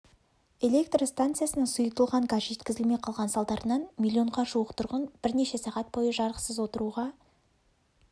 электр станциясына сұйытылған газ жеткізілмей қалған салдарынан миллионға жуық тұрғын бірнеше сағат бойы жарықсыз отыруға